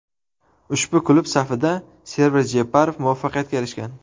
Ushbu klub safida Server Jeparov muvaffaqiyatga erishgan.